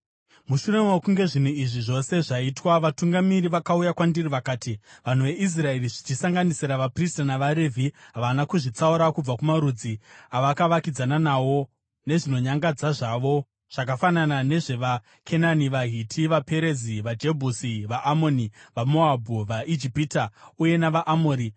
Mushure mokunge zvinhu izvi zvose zvaitwa, vatungamiri vakauya kwandiri vakati, “Vanhu veIsraeri, zvichisanganisira vaprista navaRevhi, havana kuzvitsaura kubva kumarudzi avakavakidzana nawo nezvinonyangadza zvavo, zvakafanana nezvevaKenani, vaHiti, vaPerizi, vaJebhusi, vaAmoni, vaMoabhu, vaIjipita uye navaAmori.